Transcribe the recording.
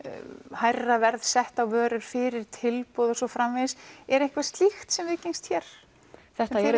hærra verð sett á vörur fyrir tilboð og svo framvegis er eitthvað slíkt sem viðgengst hér þetta eru